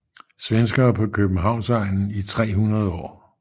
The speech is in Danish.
Svenskere på Københavnsegnen i 300 år